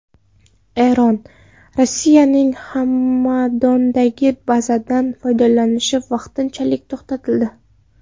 Eron: Rossiyaning Hamadondagi bazadan foydalanishi vaqtinchalik to‘xtatildi.